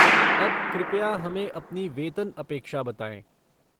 अब कृपया हमें अपनी वेतन अपेक्षा बताएँ।